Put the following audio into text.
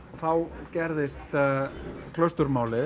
þá gerðist